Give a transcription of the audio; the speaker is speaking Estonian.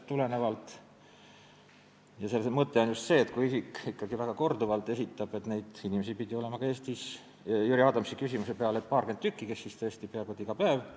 Mõte on selles, et kui isik ikkagi esitab korduvalt taotlusi, siis on õigustatud määrata talle selle eest tasu, mis on riigilõivuseaduses fikseeritud.